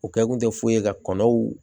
U kɛ kun tɛ foyi ye ka kɔnɔw